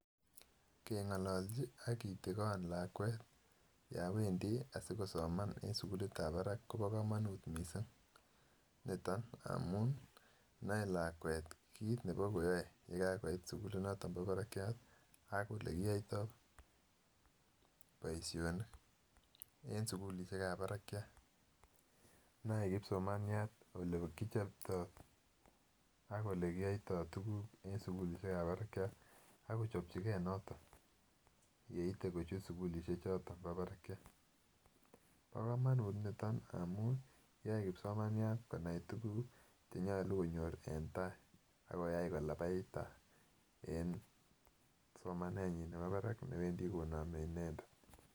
Kengololji ak kitigon lakwet yon wendii asikosoman en sukulit ab baraka Kobo komonut missing niton amun noe lakwet kit nebo koyoe yekakoit sukulit noton bo barakyat ak olekiyoito, boishonik en sukulishek ab barakyat. Noe kipsomaniat ole kichoptoo ak ole kiyoito tukul en sukulishek ab barakyat ak kochopji gee noton yeite kochut sukulishek choton bo barakyat. Bo komonut niton amun yoe kipsomaniat konai tukuk chenyolu konyor en tai ak koyai kolapait tai en somanenyin nebo barak newendii konome inendet.